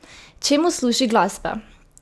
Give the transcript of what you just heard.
Čemu služi glasba?